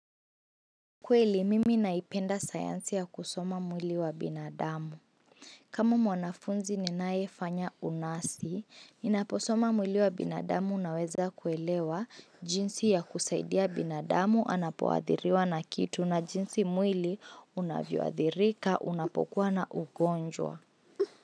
Kweli mimi naipenda sayansi ya kusoma mwili wa binadamu kama mwanafunzi ninaye fanya unasi, ninaposoma mwili wa binadamu naweza kuelewa jinsi ya kusaidia binadamu anapowathiriwa na kitu na jinsi mwili unavyoathirika unapokuwa na ugonjwa.